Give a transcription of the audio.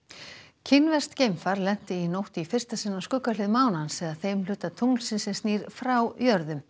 kínverskt geimfar lenti í nótt í fyrsta sinn á skuggahlið mánans eða þeim hluta tunglsins sem snýr frá jörðu